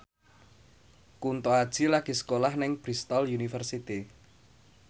Kunto Aji lagi sekolah nang Bristol university